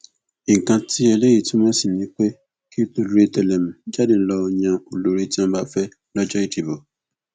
nǹkan tí eléyìí túmọ sí ni pé kí tolórí tẹlẹmú jáde lọọ yan olórí tí wọn bá fẹ lọjọ ìdìbò